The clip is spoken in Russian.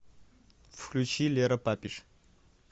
включи лера папиш